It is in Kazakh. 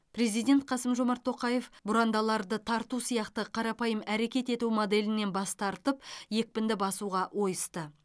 президент қасым жомарт тоқаев бұрандаларды тарту сияқты қарапайым әрекет ету моделінен бас тартып екпінді басуға ойысты